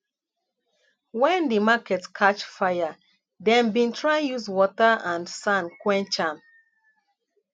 wen di market catch fire dem bin try use water and sand quench am